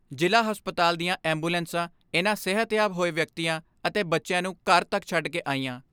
ਜ਼ਿਲ੍ਹਾ ਹਸਪਤਾਲ ਦੀਆਂ ਐਂਬੂਲੈਂਸਾਂ ਇਨ੍ਹਾਂ ਸਿਹਤਯਾਬ ਹੋਏ ਵਿਅਕਤੀਆਂ ਅਤੇ ਬੱਚਿਆਂ ਨੂੰ ਘਰ ਤੱਕ ਛੱਡ ਕੇ ਆਈਆਂ।